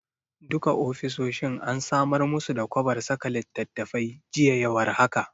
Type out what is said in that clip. Duka ofisoshin an samar musu da kwabar saka littattafai, jiya ya war haka.